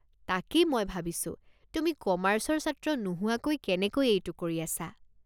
তাকেই মই ভাবিছোঁ, তুমি কমাৰ্চৰ ছাত্ৰ নোহোৱাকৈ কেনেকৈ এইটো কৰি আছা।